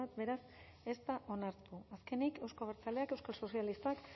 beraz ez da onartu azkenik euzko abertzaleak euskal sozialistak